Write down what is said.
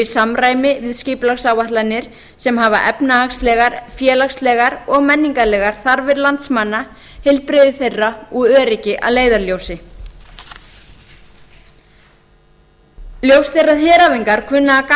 samræmi við skipulagsáætlanir sem hafa efnahagslegar félagslegar og menningarlegar þarfir landsmanna heilbrigði þeirra og öryggi að leiðarljósi ljóst er að heræfingar kunna að